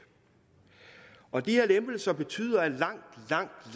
og de her lempelser betyder at langt